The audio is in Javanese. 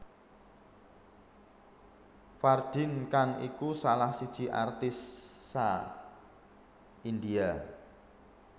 Fardeen Khan iku salah siji artis saa India